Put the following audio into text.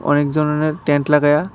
অনেকজনেরা tent লাগাইয়া --